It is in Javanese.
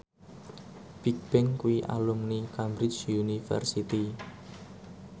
Bigbang kuwi alumni Cambridge University